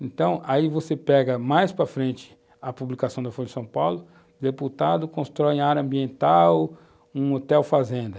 Então, aí você pega mais para frente a publicação da Folha de São Paulo, o deputado constrói em área ambiental um hotel fazenda.